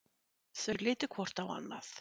Þau litu hvort á annað.